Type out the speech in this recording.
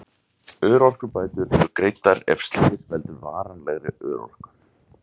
Örorkubætur eru greiddar ef slys veldur varanlegri örorku.